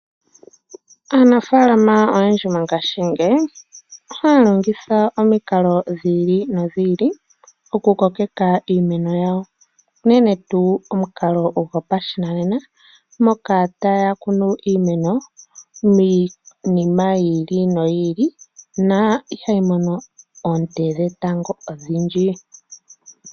Aanafaalama oyendji mongashingeyi ohaya longitha omikalo dhiili nodhiili okukokeka iimeno yawo unene tuu omukalo gopashinanena moka taya kunu iimeno miinima yiili noyiili na ihayi mono oonte dhetango odhindji.